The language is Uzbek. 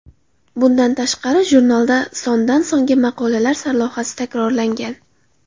Bundan tashqari, jurnalda sondan-songa maqolalar sarlavhasi takrorlangan.